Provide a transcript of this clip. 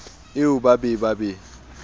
eo ba be ba be